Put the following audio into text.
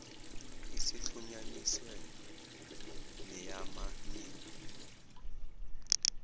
isixhunyaniswe neyama mixed